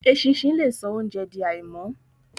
Eṣinṣin le so óunjẹ di àìmọ́.